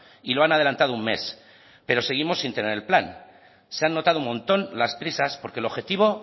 y lo han adelantado un mes pero seguimos sin tener el plan se han notado un montón las prisas porque el objetivo